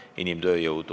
Austatud Riigikogu esimees!